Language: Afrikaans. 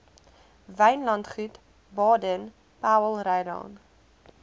wynlandgoed baden powellrylaan